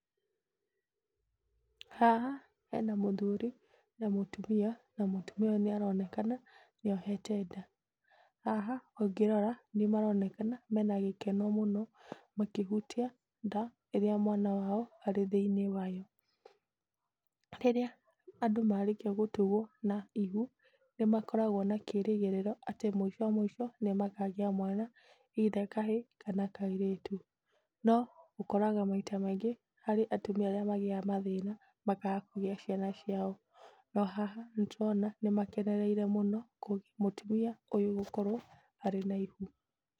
Haha hena mũthuri na mũtumia na mũtumia ũyũ nĩ aronekana nĩ ohete nda. Haha ũngĩrora nĩmaronekana mena gĩkeno mũno makĩhutia nda, ĩrĩa mwana wao arĩ thĩiniĩ wayo. Rĩrĩa andũ marĩkia gũtugwo na ihu nĩmakoragwo na kĩrĩgĩrĩro atĩ mũico mũico nĩmakagĩa mwana either kahĩĩ kana kairĩtu. No ũkoraga maita maingĩ harĩ atumia arĩa magĩaga mathĩna makaga kũgĩa ciana ciao, no haha nĩtũrona nĩmakenereire mũno mũtumia ũyũ gũkorwo arĩ na ihu.